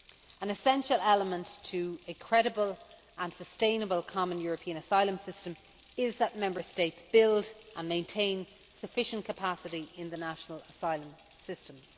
An essential element to a credible and sustainable common European asylum system is that Member States build and maintain sufficient capacity in the national asylum systems.